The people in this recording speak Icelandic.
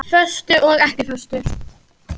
Föstu og ekki föstu.